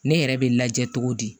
Ne yɛrɛ bɛ lajɛ cogo di